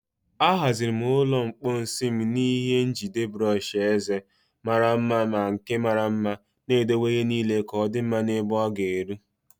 Ahaziri m ụlọ mposi m n'ihe njide brọsh eze mara mma na nke mara mma, na-edowe ihe niile ka ọ dị mma na ebe ọ ga-eru.